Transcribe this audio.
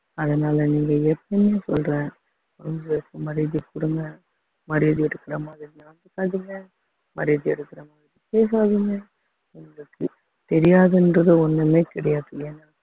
அதனால நீங்க எப்பவும் சொல்றேன் அவங்களுக்கு மரியாதை கொடுங்க மரியாதையா இருக்கிற மாதிரி நடந்துக்காதீங்க மரியாதையா இருக்கிற மாதிரி பேசாதீங்க அவங்களுக்கு தெரியாதுன்றது ஒண்ணுமே கிடையாதுங்க